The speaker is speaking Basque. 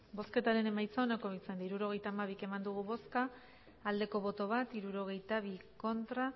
hirurogeita hamabi eman dugu bozka bat bai hirurogeita bi ez